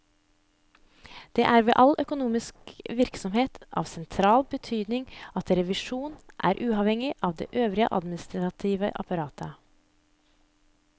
Det er ved all økonomisk virksomhet av sentral betydning at revisjonen er uavhengig av det øvrige administrative apparat.